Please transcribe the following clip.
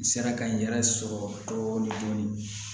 N sera ka n yɛrɛ sɔrɔ dɔɔnin dɔɔnin